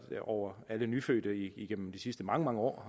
over alle nyfødte igennem de sidste mange mange år